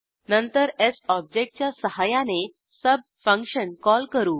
नंतर ऑब्जेक्टच्या सहाय्याने सुब फंक्शन कॉल करू